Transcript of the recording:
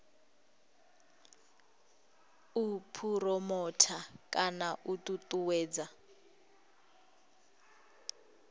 u phuromotha kana u ṱuṱuwedza